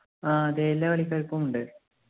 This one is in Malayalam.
ആഹ് അതെ എല്ലാ കളിക്കാർക്കും ഉണ്ട്